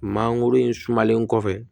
Mangoro in sumalen kɔfɛ